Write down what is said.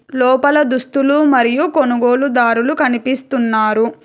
లోపల దుస్తులు మరియు కొనుగోలుదారులు కనిపిస్తున్నారు.